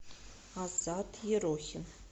азат ерохин